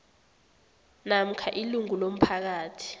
namkha ilungu lomphakathi